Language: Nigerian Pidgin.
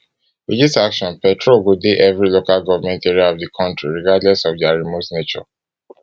with dis action petrol go dey every local government area of di kontri regardless of dia remote nature